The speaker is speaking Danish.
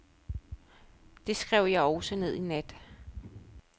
Det skrev jeg også ned i nat.